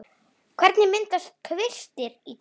Hvernig myndast kvistir í trjám?